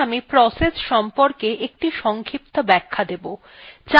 এখন আমি process সংক্রান্ত একটি সংক্ষিপ্ত ব্যাখ্যা দেবো